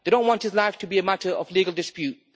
They don't want his life to be a matter of legal dispute